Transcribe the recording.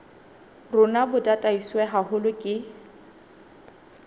rona bo tataiswe haholo ke